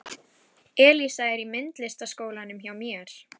Elísa er í myndlistaskólanum hjá mér.